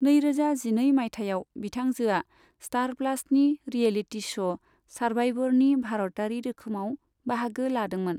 नैरोजा जिनै माइथायाव, बिथांजोआ स्टार प्लासनि रियेलिटि श' सारभाइभरनि भारतारि रोखोमाव बाहागो लादोंमोन।